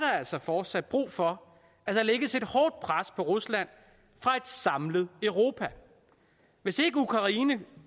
altså fortsat brug for at der lægges et hårdt pres på rusland fra et samlet europa hvis ikke ukraine